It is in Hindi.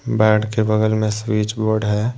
बेड के बगल में स्विच बोर्ड है।